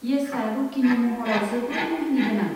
येसआ रकिनि महराव जोबोद मुहिनिगोनां।